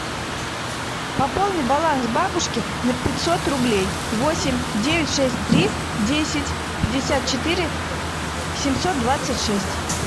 пополни баланс бабушки на пятьсот рублей восемь девять шесть три десять пятьдесят четыре семьсот двадцать шесть